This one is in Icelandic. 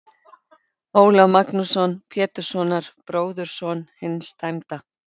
Ólaf Magnússon, Péturssonar, bróðurson hins dæmda.